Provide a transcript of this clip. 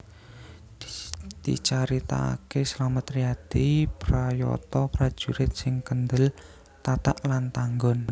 Dicaritakaké Slamet Riyadi prayata prajurit sing kendel tatag lan tanggon